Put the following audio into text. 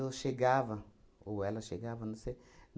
chegava, ou ela chegava, não sei.